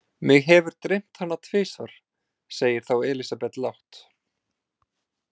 Mig hefur dreymt hana tvisvar, segir þá Elísabet lágt.